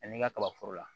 A n'i ka kaba foro la